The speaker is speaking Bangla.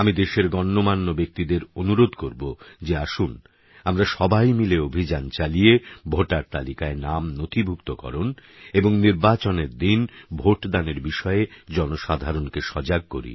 আমি দেশের গণ্যমান্য ব্যক্তিদের অনুরোধ করব যে আসুন আমরা সবাই মিলে অভিযান চালিয়ে ভোটার তালিকায় নাম নথিভুক্তকরণ এবং নির্বাচনের দিন ভোটদানের বিষয়ে জনসাধারণকে সজাগ করি